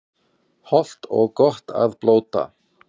Hollt og gott að blóta